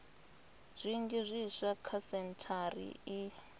zwinzhi zwiswa kha sentshari iyi